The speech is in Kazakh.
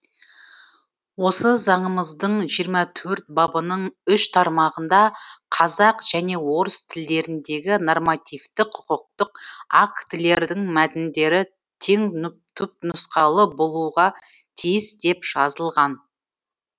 осы заңымыздың жиырма төрт бабының үш тармағында қазақ және орыс тілдеріндегі нормативтік құқықтық актілердің мәтіндері теңтүпнұсқалы болуға тиіс деп жазылған